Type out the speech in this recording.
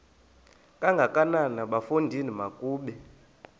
kangakanana bafondini makabe